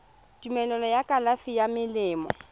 tumelelo ya kalafi ya melemo